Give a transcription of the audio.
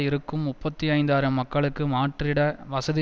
இருக்கும் முப்பத்தி ஐந்து ஆயிரம் மக்களுக்கு மாற்றிட வசதி